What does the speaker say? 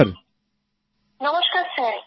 বানাক্কাম নমস্কার স্যার